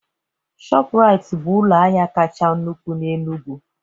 Shọpraiti bụ ụlọ ahịa kacha nnukwu n'Enugwu